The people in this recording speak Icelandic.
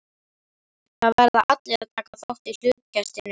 Það verða allir að taka þátt í hlutkestinu.